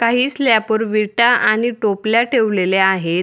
काही स्लॅपवर विटा आणि टोपल्या ठेवलेल्या आहेत.